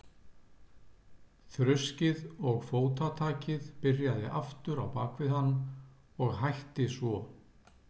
Þruskið og fótatakið byrjaði aftur á bak við hann og hætti svo.